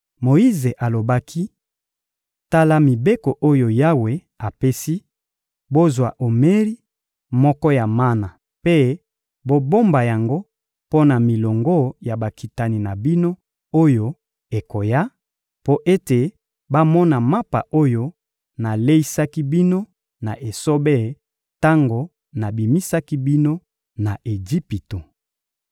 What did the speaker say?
Moyize alobaki: — Tala mibeko oyo Yawe apesi: «Bozwa omeri moko ya mana mpe bobomba yango mpo na milongo ya bakitani na bino oyo ekoya, mpo ete bamona mapa oyo naleisaki bino na esobe tango nabimisaki bino na Ejipito.»